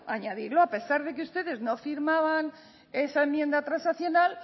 añadirlo a pesar de que ustedes no firmaban esa enmienda transaccional